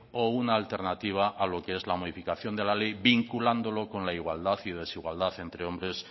o una alternativa a lo que es la modificación de la ley vinculándolo con la igualdad y desigualdad entre hombre